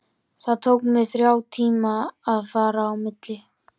Það tók mig þrjá tíma að fara á milli.